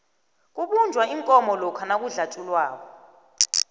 kubunjwa iinkomo lokha nakudlatjhulwako